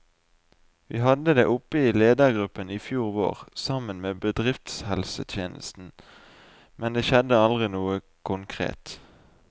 Vi hadde det oppe i ledergruppen i fjor vår, sammen med bedriftshelsetjenesten, men det skjedde aldri noe konkret.